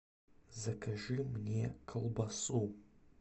закажи мне колбасу